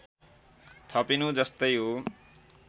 थपिनु जस्तै हो